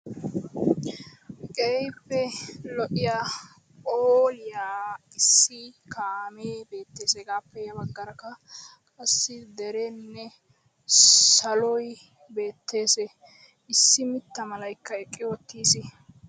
Keehippe lo"iya phooliya issi kaame beettees. Hegappe ya baggaarakka issi derenne saloy beettees. Issi mitta malaykka eqqi uttiis.